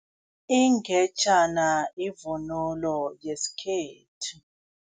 Ingejana ivunulo yesikhethu.